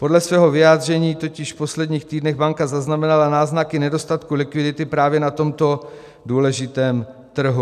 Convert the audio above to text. Podle svého vyjádření totiž v posledních týdnech banka zaznamenala náznaky nedostatku likvidity právě na tomto důležitém trhu.